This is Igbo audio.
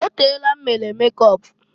O teela m mere mekọp.